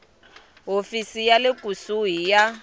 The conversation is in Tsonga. hofisi ya le kusuhi ya